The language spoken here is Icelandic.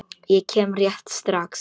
Ég kem rétt strax.